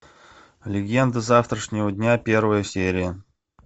легенда завтрашнего дня первая серия